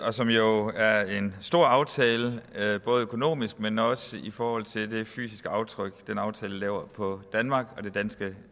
og som jo er en stor aftale både økonomisk men også i forhold til det fysiske aftryk den aftale laver på danmark og det danske